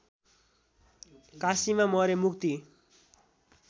काशीमा मरे मुक्ति